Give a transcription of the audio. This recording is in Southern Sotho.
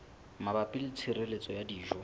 mabapi le tshireletso ya dijo